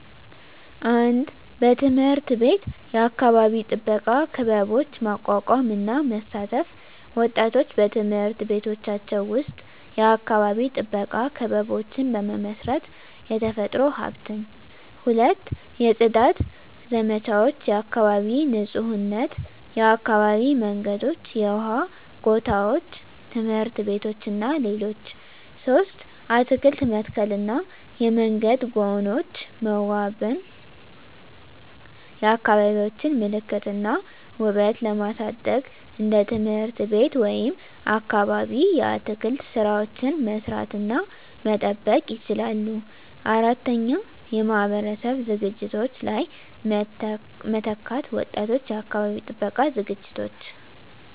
1. በትምህርት ቤት የአካባቢ ጥበቃ ክበቦች ማቋቋም እና መሳተፍ ወጣቶች በትምህርት ቤቶቻቸው ውስጥ የአካባቢ ጥበቃ ክበቦችን በመመስረት፣ የተፈጥሮ ሀብትን። 2. የጽዳት ዘመቻዎች (የአካባቢ ንፁህነት) የአካባቢ መንገዶች፣ የውሃ ጎታዎች፣ ትምህርት ቤቶች እና ሌሎች 3. አትክልት መተከልና የመንገድ ጎኖች መዋበን የአካባቢዎቻቸውን ምልክት እና ውበት ለማሳደግ እንደ ትምህርት ቤት ወይም አካባቢ የአትክልት ሥራዎችን መስራት እና መጠበቅ ይችላሉ። 4. የማህበረሰብ ዝግጅቶች ላይ መተካት ወጣቶች የአካባቢ ጥበቃ ዝግጅቶች